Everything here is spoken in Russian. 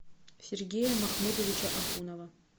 сергея махмудовича ахунова